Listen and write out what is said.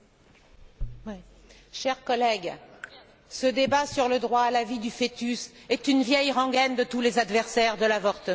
Monsieur le Président, chers collègues, ce débat sur le droit à la vie du fœtus est une vieille rengaine de tous les adversaires de l'avortement.